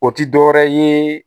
O tɛ dɔwɛrɛ ye